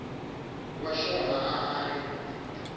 wa xona a a ri